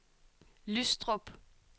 Lystrup